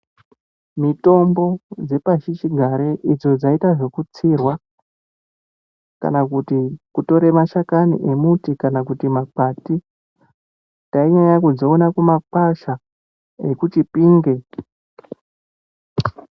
Mitombo dzepashi chigare idzo dzaiita zvekutsirwa kana kutora mashakani emuti kana kuti makwati tainyanya kudziona kumakwasha ekuChipinge.